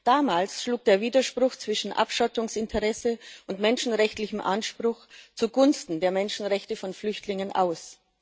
Damals schlug der Widerspruch zwischen Abschottungsinteresse und menschenrechtlichem Anspruch zugunsten der Menschenrechte von Flüchtlingen aus.